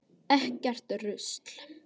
Ekkert rusl.